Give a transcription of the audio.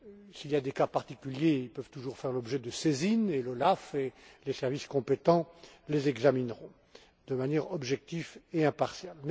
s'il y a des cas particuliers, ils peuvent toujours faire l'objet de saisine et l'OLAF et les services compétents les examineront, de manière objective et impartiale.